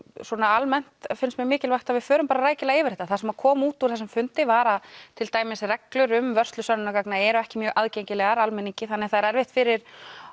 svona almennt finnst mér mikilvægt að við förum rækilega yfir þetta það sem kom út úr þessum fundi var að til dæmis reglur um vörslu sönnunargagna eru ekki mjög aðgengilegar almenningi þannig það er erfitt fyrir